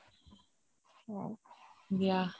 দিয়া